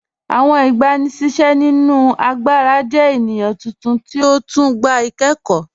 Awọn igbàníṣẹ̀ nínu àgbàrà jẹ̀ ènìyàn tuntun ti ó tún gbà ikẹ̀kọ́.